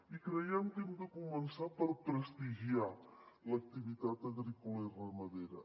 i creiem que hem de començar per prestigiar l’activitat agrícola i ramadera